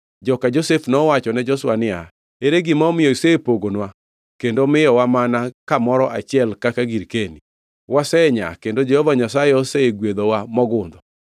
Joka Josef nowachone Joshua niya, “Ere gima omiyo isepogonwa kendo miyowa mana kamoro achiel kaka girkeni? Wasenyaa kendo Jehova Nyasaye osegwedhowa mogundho.”